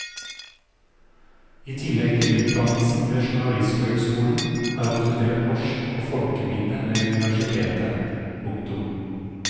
I tillegg til utdannelsen ved journalisthøgskolen har han studert norsk og folkeminne ved universitetet. punktum